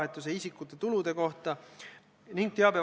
Jürgen Ligi on saanud juba enda küsimuse esitada.